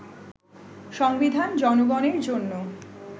” সংবিধান জনগণের জন্য